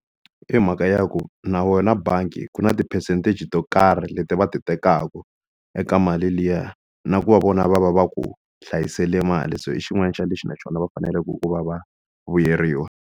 I mhaka ya ku na wena bangi ku na ti-percentage to karhi leti va ti tekaka eka mali liya na ku va vona va va va ku hlayisele mali se i xin'wana xa lexi na xona va faneleke ku va va vuyeriwa.